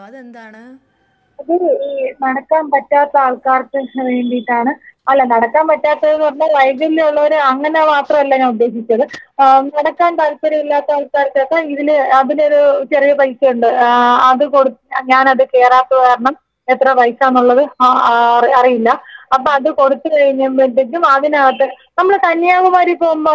അതൊരു ഏ നടക്കാൻ പറ്റാത്ത ആൾക്കാർക്ക് വേണ്ടീട്ടാണ് അല്ല നടക്കാൻ പറ്റാത്തോരെന്ന് പറഞ്ഞാ വൈകല്യമുള്ളോര് അങ്ങനെ മാത്രമല്ല ഞാനുദ്ദേശിച്ചത് ആ നടക്കാൻ താല്പര്യമില്ലാത്ത ആൾക്കാർക്കൊക്കെ ഇതിലെ അതിനൊരു ചെറിയ പൈസയുണ്ട് ആ അത് കൊട് ഞാനത് കേറാത്തത് കാരണം എത്ര പൈസാന്നുള്ളത് ആ ആ അറി അറിയില്ല അപ്പൊ അത് കൊടുത്തു കഴിയുമ്പഴത്തേക്കും അതിനകത്ത് നമ്മള് കന്യാകുമാരി പോകുമ്പോ അതുപോൽത്തെ വണ്ടി ഉണ്ടല്ലോ.